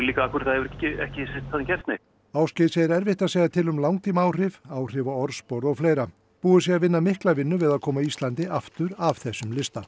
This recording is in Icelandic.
líka af hverju það hefur ekki gerst neitt Ásgeir segir erfitt að segja til um langtímaáhrif áhrif á orðspor og fleira búið sé að vinna mikla vinnu við að koma Íslandi aftur af þessum lista